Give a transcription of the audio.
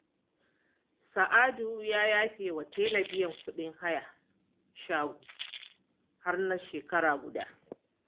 Sa'adu ya yafe wa Talle biyan kuɗin hayar shago har na shekara guda